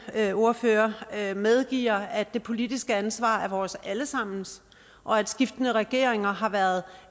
ordfører medgiver at det politiske ansvar er vores alle sammens og at skiftende regeringer har været